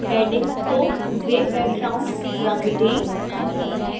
headings को grey background रंग दें